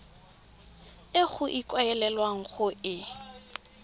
e go ikaelelwang go e